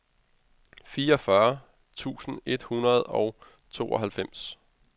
fireogfyrre tusind et hundrede og tooghalvfems